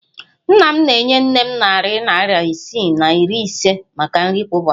Nna m na-enye nne m narị naịra isii na iri ise maka nri kwa ụbọchị.